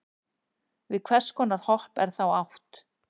við hvers konar hopp er þá átt